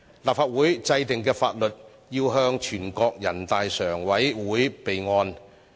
立法會制定的法律，要報全國人民代表大會常務委員會備案。